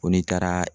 Ko ni taara